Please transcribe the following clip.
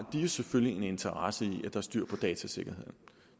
jo selvfølgelig en interesse i at der er styr på datasikkerheden